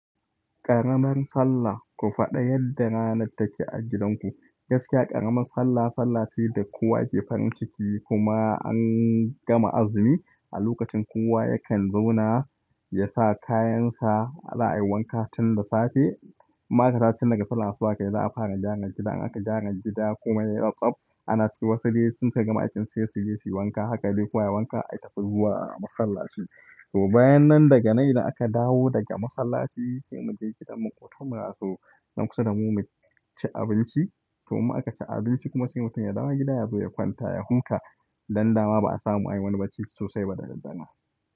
Ƙaramar sallah, ku faɗa yadda ranar take a gidanku. Gaskiya ƙaramar sallah, sallah ce da kowa yake farin ciki. Kuma an gama azumi a lokacin kowa yakan zauna ya sa kayansa, za ai wanka tun da safe. In ma aka dawo tun daga sallah asuba kai, za a fara jiran gida. In aka gyara gida komai yai tsabtsab. Ana ciki wasu dai in suka gama aikin su sai su je su yi wanka. Haka dai kowa yai wanka ai tafi zuwa masallaci. To bayan nan daga nan idan aka dawo daga masallaci sai mu je gidan mu mu kawo mu rasu nan kusa da mu, mu ci abinci. To in aka ci abinci kuma sai mutum ya dawo gida yazo ya kwanta ya huta. Dan dama ba a samu an yi wani bacci sosai ba da daddaren.